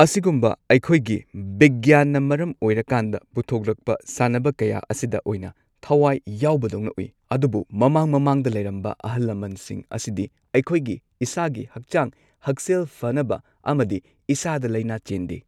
ꯑꯁꯤꯒꯨꯝꯕ ꯑꯩꯈꯣꯏꯒꯤ ꯕꯤꯒ꯭ꯌꯥꯟꯅ ꯃꯔꯝ ꯑꯣꯏꯔꯀꯥꯟꯗ ꯄꯨꯊꯣꯛꯂꯛꯄ ꯁꯥꯟꯅꯕ ꯀꯌꯥ ꯑꯁꯤꯗ ꯑꯣꯏꯅ ꯊꯋꯥꯏ ꯌꯥꯎꯕꯗꯧꯅ ꯎꯏ ꯑꯗꯨꯕꯨ ꯃꯃꯥꯡ ꯃꯃꯥꯡꯗ ꯂꯩꯔꯝꯕ ꯑꯍꯜ ꯂꯃꯟꯁꯤꯡ ꯑꯁꯤꯗꯤ ꯑꯩꯈꯣꯏꯒꯤ ꯏꯁꯥꯒꯤ ꯍꯛꯆꯥꯛ ꯍꯛꯁꯦꯜ ꯐꯅꯕ ꯑꯃꯗꯤ ꯏꯁꯥꯗ ꯂꯩꯅꯥ ꯆꯦꯟꯗꯦ꯫